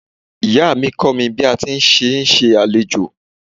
Ìyá mi kọ́ mi bí a sé ń ṣe àlejò.